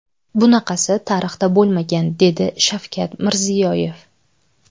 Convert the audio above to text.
Bunaqasi tarixda bo‘lmagan”, dedi Shavkat Mirziyoyev.